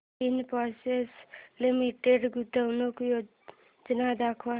Infosys limited गुंतवणूक योजना दाखव